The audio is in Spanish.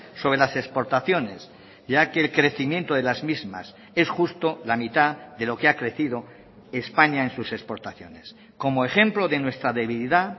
sobre las exportaciones ya que el crecimiento de las mismas es justo la mitad de lo que ha crecido españa en sus exportaciones como ejemplo de nuestra debilidad